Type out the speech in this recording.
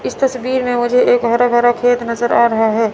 इस तस्वीर में मुझे एक हरा भरा खेत नजर आ रहा है।